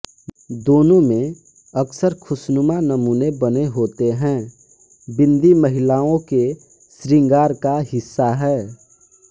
दोनों में अक्सर खुस्नूमा नमूने बने होते हैं बिंदी महिलाओं के श्रृंगार का हिस्सा है